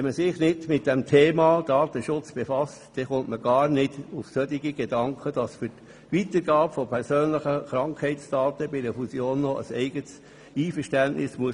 Wenn man sich nicht mit dem Thema Datenschutz befasst, kommt man gar nicht auf den Gedanken, dass für die Weitergabe von persönlichen Krankheitsdaten bei einer Fusion noch ein eigenes Einverständnis gegeben werden muss.